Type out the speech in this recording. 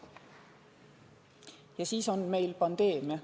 Ja siis on meil pandeemia.